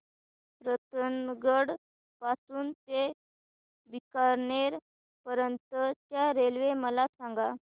रतनगड पासून ते बीकानेर पर्यंत च्या रेल्वे मला सांगा